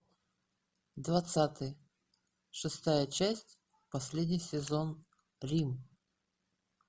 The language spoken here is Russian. двадцатый шестая часть последний сезон рим